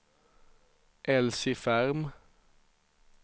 Elsie Ferm